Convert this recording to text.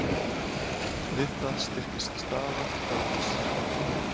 Við það styrkist staða dollars.